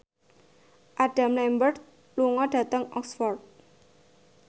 Adam Lambert lunga dhateng Oxford